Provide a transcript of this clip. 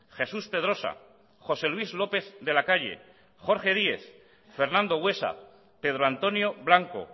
jesús pedrosa josé luis lópez de la calle jorge díez fernando buesa pedro antonio blanco